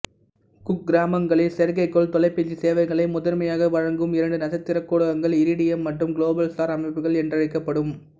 குக்கிராமங்களில் செயற்கைக்கோள் தொலைபேசி சேவைகளை முதன்மையாக வழங்கும் இரண்டு நட்சத்திரக்கூட்டங்கள் இரிடியம் மற்றும் குளோபல்ஸ்டார் அமைப்புகள் என்றழைக்கப்படும்